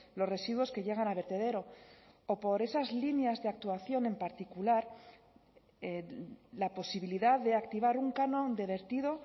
los residuos que llegan a vertedero o por esas líneas de actuación en particular la posibilidad de activar un canon de vertido